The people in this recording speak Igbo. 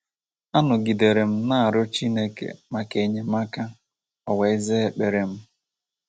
“ Anọgidere m na - arịọ Chineke maka enyemaka, o wee zaa ekpere m. ””